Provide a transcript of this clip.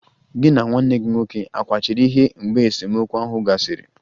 Gị na nwanne gị nwoke akwachiri ihe mgbe esemokwu ahụ gasịrị?